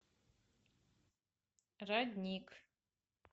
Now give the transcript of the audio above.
родник